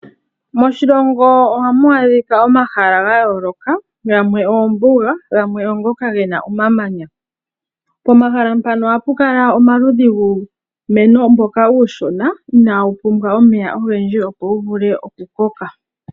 Moshilongo ohamu adhika omahala ga yooloka, gamwe oombuga, gamwe oongoka ge na omamanya. Pomahala mpano ohapu kala omaludhi guumeno mboka uushona ina wu pumbwa omeya ogendji, opo wu vule oku koka.